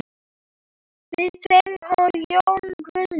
Við tveir og Jón Guðni.